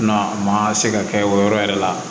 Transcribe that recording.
Na maa se ka kɛ o yɔrɔ yɛrɛ la